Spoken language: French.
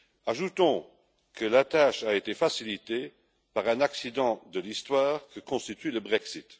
Ajoutons que la tâche a été facilitée par cet accident de l'histoire que constitue le Brexit.